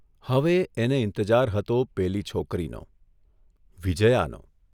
હવે એને ઇંતજાર હતો પેલી છોકરીનો વિજ્યાનો!